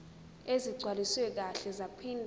ezigcwaliswe kahle zaphinde